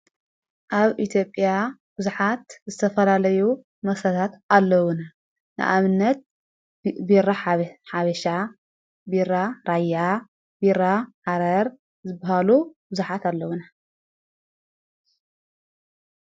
ኣብ ኢትዮጵያ ብዙኃት ዝተፈላለዩ መሰታት ኣለዉና ንኣብ ነት ብራ ሓበሻ ቢራ ራያ ቢራ ሓረር ዝበሃሉ ዉዙኃት ኣለዉነ